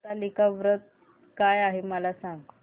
हरतालिका व्रत काय आहे मला सांग